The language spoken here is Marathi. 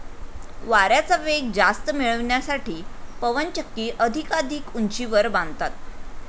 वाऱ्याचा वेग जास्त मिळविण्यासाठी पवनचक्की अधिकाधिक उंचीवर बांधतात.